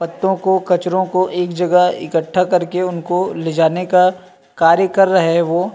पत्तो को कचरो को एक जगह इकट्ठा करके उनको ले जाने का कार्य कर रहै है वो --